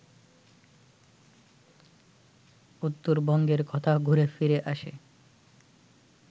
উত্তরবঙ্গের কথা ঘুরে ফিরে আসে